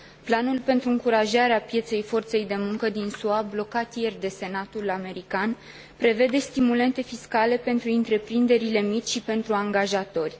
Planul pentru încurajarea pieței forței de muncă din SUA, blocat ieri de Senatul american, prevede stimulente fiscale pentru întreprinderile mici și pentru angajatori.